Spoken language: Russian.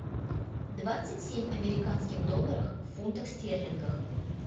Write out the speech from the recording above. двадцать семь американских долларов в фунтах стерлингов